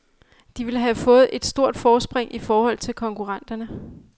De vil have fået et stort forspring i forhold til konkurrenterne.